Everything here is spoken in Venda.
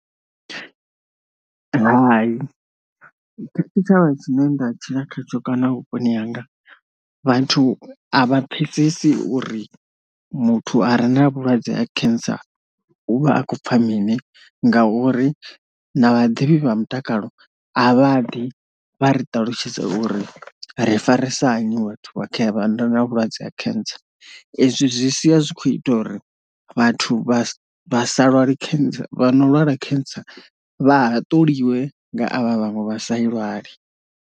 Hai tshitshavha tshine nda tshila khatsho kana a vhuponi hanga vhathu a vha pfesesi uri muthu a re na vhulwadze ha cancer u vha a khou pfa mini ngauri na vhaḓivhi vha mutakalo a vha ḓi vha ri ṱalutshedza uri ri farisana hani vhathu vha kha vha ndo na vhulwadze ha cancer, ezwi zwi sia zwi kho ita uri vhathu vha vha sa lwali cancer vha no lwala cancer vha haṱuliwe nga avha vhaṅwe vha sa lwali.